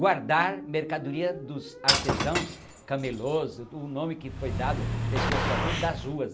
Guardar mercadoria dos artesãos, camelôs, o nome que foi dado, pessoas são tudo das ruas,